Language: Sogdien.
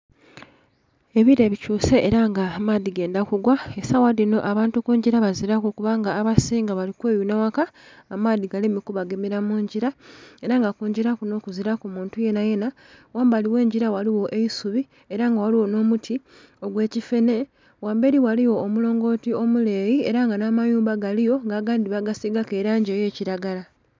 Ebilee bikyuse era nga amaadhi gendha ku gwa esawa dhinho abantu kungila bazilaku kubanga abasinga bali kweyunha ghaka amaadhi galeme ku bagemera mungila era nga kungila kunho kuzilaku muntu yenayena. Ghambali ghe ngila ghaligho omuti ogwe kifene, ghamberi ghaligho omulongoti omuleeyi era nga nha amayumba galiyo nga agandhi bagisigaku elangi eya kilagala.